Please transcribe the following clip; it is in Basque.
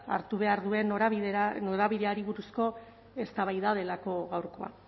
hartu behar duen norabideari buruzko eztabaida delako gaurkoa